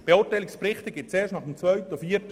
Zweitens sind auch die Zyklen nicht koordiniert.